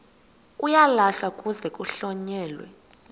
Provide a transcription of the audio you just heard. uyalahlwa kuze kuhlonyelwe